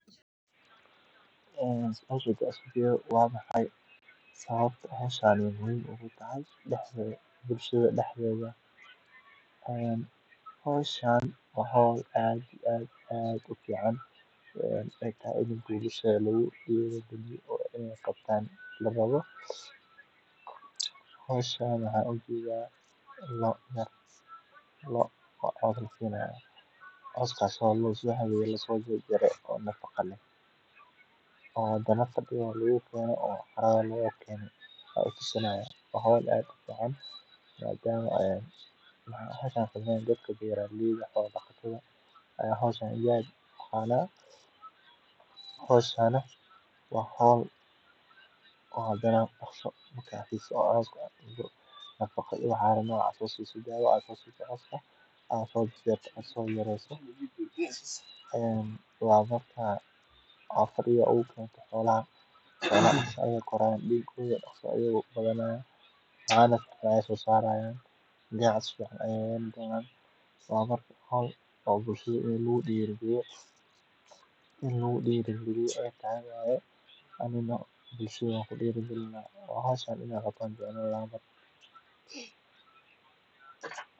caanaha iyo caswka loda oo gacan ka geysta sugnaanta cuntada qoysaska. Si kastaba ha ahaatee, dhaqashada xoolaha waxay u baahan tahay maarayn iyo daryeel gaar ah, sida tallaalada joogtada ah, nafaqada habboon, iyo ilaalinta deegaanka, si looga hortago cudurro iyo khasaaro dhaqaale. Sidaa darteed, beeraleyda doonaya inay la dhaqmaan xoolaha waa inay yeeshaan aqoon iyo taageero farsamo oo sax ah, si ay uga faa’iideystaan fursaddan muhiimka